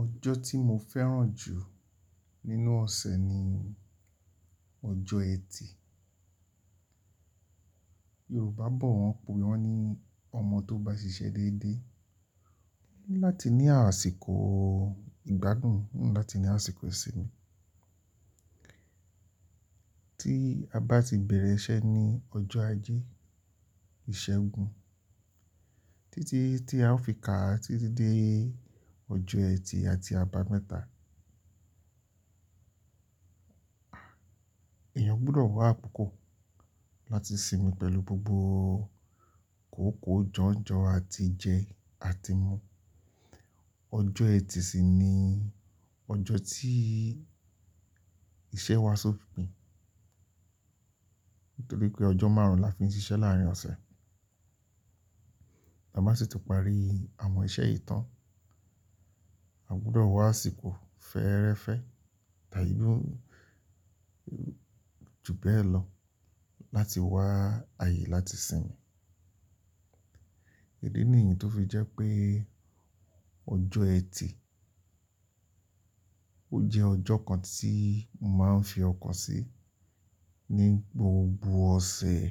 Ọjọ́ tí mo fẹ́ràn jù nínú ọ̀sẹ̀ ni ọjọ́ ẹtì. Yorùbá bọ̀ wọ́n pè wọ́n ní ọmọ tó bá ṣiṣẹ́ dédé n láti ní àsìkò ìgbádùn, láti ní àsìkò ìsinmi. Tí a bá ti bẹ̀rẹ̀ iṣẹ́ ní ọjọ́ ajé, ìṣẹ́gun títí tí a ó fi kà títí dé ọjọ́ ẹtì àti àbámẹ́ta. Èèyàn gbọdọ̀ wá púpọ̀ láti sinmi pẹ̀lú gbogbo kòókòó jọ̀njọ àti jẹ àti mu. Ọjọ́ ẹtì sì ni ọjọ́ tí iṣẹ́ wa ṣòpin, nítorí pé ọjọ́ márùn-ún la fi ń ṣiṣẹ́ láàárín ọ̀sẹ̀. A má sì ti parí àwọn iṣẹ́ yii tán. A gbudọ̀ wá àsìkò fẹ́ẹ́rẹ́fẹ́ t'àìdú ju bẹ́ẹ̀ lọ láti wá ààyè láti sinmi. Èyí ni èyí tó fi jẹ́ pé ọjọ́ ẹtì ó jẹ́ ọjọ́ kan tí mo máa ń fi ọkan sí ní gbogbo ọ̀sẹ̀.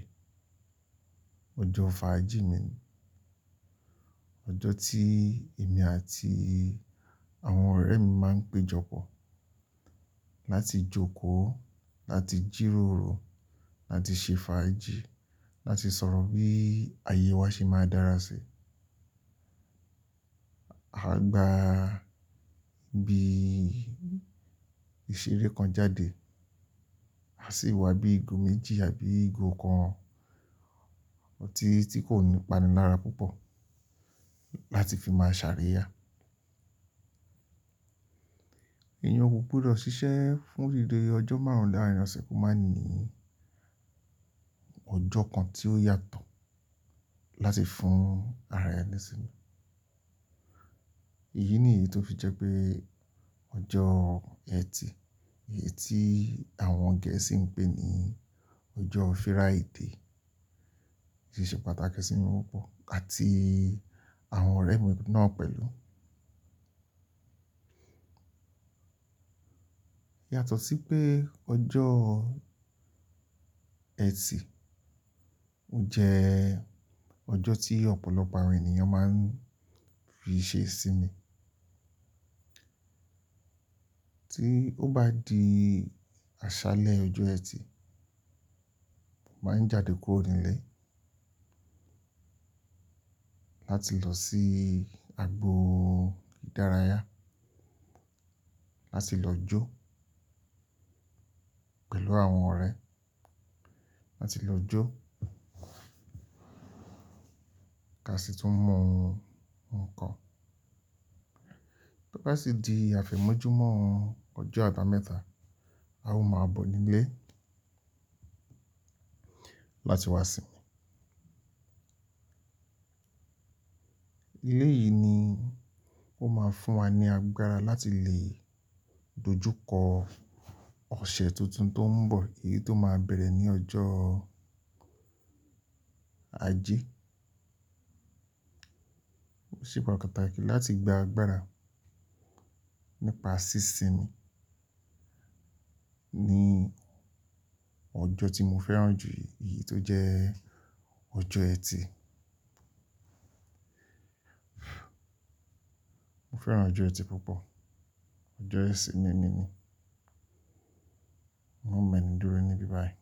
Ọjọ́ fàájì mi, ọjọ́ tí èmi àti àwọn ọ̀rẹ́ mi máa ń péjọpọ̀ láti jókòó, láti jíróoro, láti ṣe fàájì, láti sọ̀rọ̀ bí ààyè wa ṣe máa dára sí i. A gba ibi ìṣeré kan jáde, a sì wá bí ìgò méjì àbí ìgò kan otí ti kò ní ìpanilára púpọ̀ láti fi máa ṣàriya. Èèyàn kò gbudo ṣiṣẹ́ fún ìdí pé ọjọ́ márùn-ún láàárín ọ̀sẹ̀ kó má ní ọjọ́ kan tí ó yàtọ̀ láti fún ara ẹni sinmi. Èyí ni èyí tó fi jẹ́ pé ọjọ́ ẹtì, èyí tí àwọn gẹ̀ẹ́sì ń pè ní ọjọ́ Friday, ṣiṣẹ́ pàtàkì sí mi púpọ̀ àti àwọn ọ̀rẹ́ mi náà pẹ̀lú. Yàtọ̀ sí pé ọjọ́ ẹtì ó jẹ́ ọjọ́ tí ọ̀pọ̀lọpọ̀ àwọn ènìyàn máa ń fi ṣe sinmi. Tí ó bá di àṣálẹ́ ọjọ́ ẹtì, mo máa ń jáde kúrò nílé láti lọ sí agbo ìdárayá láti lọ jó pẹ̀lú àwọn ọ̀rẹ́, láti lọ jó, ká sì tún mu nkan. Bo bá sì di àfẹ̀mọ́júmọ́ ọjọ́ àbámẹ́ta, a ó máa bọ̀ nílé láti wá sinmi. Elé yìí ni ó máa fún wa ní agbára láti lè dojú kọ ọ̀sẹ̀ tuntun tó ń bọ̀, èyí tó máa bẹ̀rẹ̀ ní ọjọ́ Ajé. Òṣìpọ̀ pàtàkì láti gba agbára nípa sí sinmi ní ọjọ́ tí mo fẹ́ràn jù, èyí tó jẹ́ ọjọ́ ẹtì. Mo fẹ́ràn ọjọ́ ẹtì púpọ̀, ọjọ́ isinmi mi ni. Mo mọ̀ ẹnu dúró níbí báyìí.